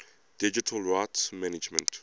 digital rights management